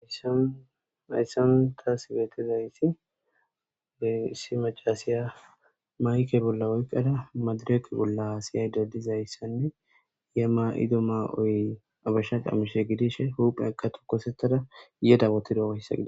Hayisan tas betizayisi issi macasiya mayike bola oyikada madireke bola hasayida dizayisane iza mayida ma'oy habesha qamise gidishin huphiyaka tokosetara yeda wotidayisa.